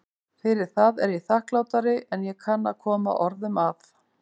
Fyrir það er ég þakklátari en ég kann að koma orðum að.